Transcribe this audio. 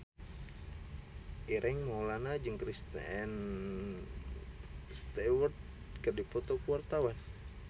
Ireng Maulana jeung Kristen Stewart keur dipoto ku wartawan